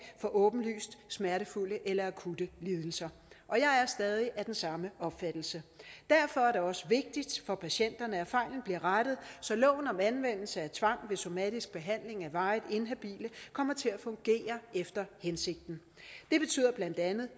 for åbenlyst smertefulde eller akutte lidelser og jeg er stadig af den samme opfattelse derfor er det også vigtigt for patienterne at fejlen bliver rettet så loven om anvendelse af tvang ved somatisk behandling af varigt inhabile kommer til at fungere efter hensigten det betyder